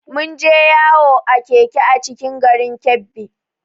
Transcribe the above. Mun je yawo a Keke a cikin garin Kebbi